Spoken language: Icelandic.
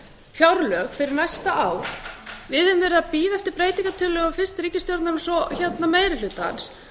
fjárlög fyrir næsta ár við höfum verið að bíða eftir breytingartillögum fyrst ríkisstjórnarinnar svo meiri hlutans